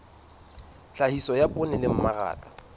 tlhahiso ya poone le mmaraka